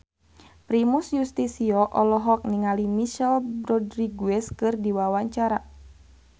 Primus Yustisio olohok ningali Michelle Rodriguez keur diwawancara